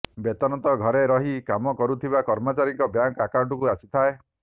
ବେତନ ତ ଘରେ ରହି କାମ କରୁଥିବା କର୍ମଚାରୀଙ୍କ ବ୍ୟାଙ୍କ ଅକାଉଣ୍ଟକୁ ଆସିଯାଏ